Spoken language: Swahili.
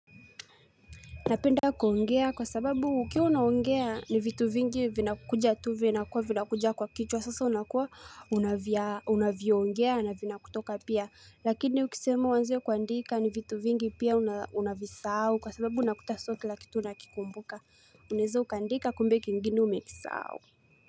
Napenda kuongea kwa sababu ukiwa unaongea ni vitu vingi vinakuja tu vinakuwa vinakuja kwa kichwa sasa unakuwa unavya unaviongea na vinakutoka pia lakini ukisema uanze kuandika ni vitu vingi pia unavisahau kwa sababu unakuta sio kila kitu unakikumbuka unaeza uka andika kumbe kingine umekisahau.